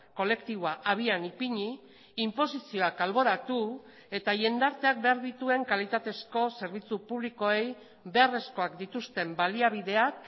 kolektiboa abian ipini inposizioak alboratu eta jendarteak behar dituen kalitatezko zerbitzu publikoei beharrezkoak dituzten baliabideak